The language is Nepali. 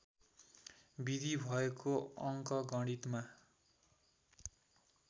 विधि भएको अङ्कगणितमा